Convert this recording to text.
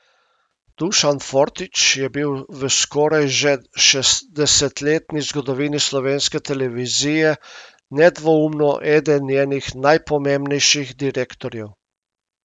Dušan Fortič je bil v skoraj že šestdesetletni zgodovini slovenske televizije nedvoumno eden njenih najpomembnejših direktorjev.